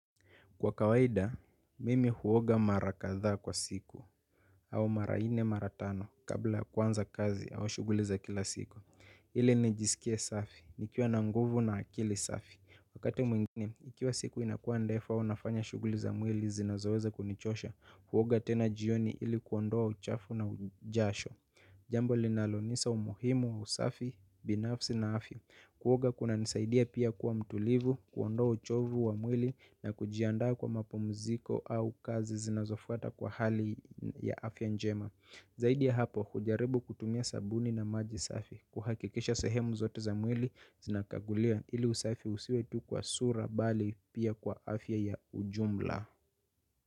Kwa kawaida, mimi huoga mara katha kwa siku au mara nne mara tano kabla kuanza kazi au shughuli za kila siku. Ili nijisikie safi, nikiwa na nguvu na akili safi. Wakati mwingine, ikiwa siku inakuwa ndefu au nafanya shughuli za mwili zinazoweza kunichosha, huoga tena jioni ili kuondoa uchafu na ujasho. Jambo linalonisa umuhimu wa usafi, binafsi na afya. Kuoga kunanisaidia pia kuwa mtulivu, kuondoa uchovu wa mwili na kujiandaa kwa mapumuziko au kazi zinazofuata kwa hali ya afya njema. Zaidi ya hapo, hujarebu kutumia sabuni na maji safi. Kuhakikisha sehemu zote za mwili, zinakaguliwa ili usafi usiwe tu kwa sura bali pia kwa afya ya ujumla.